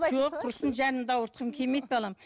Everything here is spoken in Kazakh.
жоқ құрысын жанымды ауыртқым келмейді балам